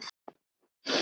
Selma, Sandra og Sindri.